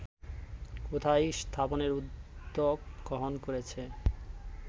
কোথায় স্থাপনের উদ্যোগ গ্রহন করেছে